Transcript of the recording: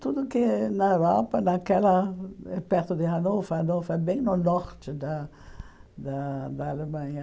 Tudo que é na Europa, naquela é perto de Hannover, Hannover é bem no norte da da da Alemanha.